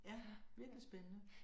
Ja virkelig spændende